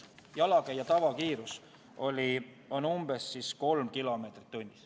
Jalakäija tavakiirus on umbes kolm kilomeetrit tunnis.